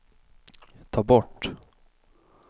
ta bort